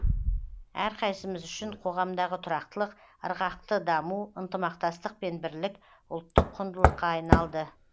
әрқайсымыз үшін қоғамдағы тұрақтылық ырғақты даму ынтымақтастық пен бірлік ұлттық құндылыққа айналды